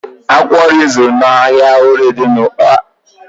Akwụkwọ nri m zụrụ n'ahịa orie ụgba dị n'ụmụahia agaghị ezu